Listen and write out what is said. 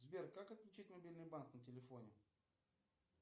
сбер как отключить мобильный банк на телефоне